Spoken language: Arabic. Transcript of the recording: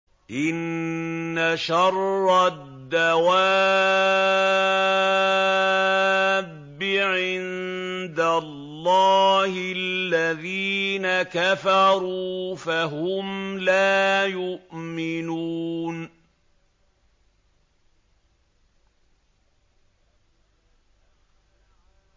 إِنَّ شَرَّ الدَّوَابِّ عِندَ اللَّهِ الَّذِينَ كَفَرُوا فَهُمْ لَا يُؤْمِنُونَ